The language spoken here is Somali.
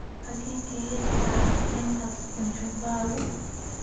xagee ka heli karaa naivas bujumbura